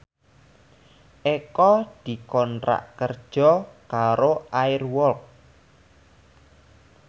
Eko dikontrak kerja karo Air Walk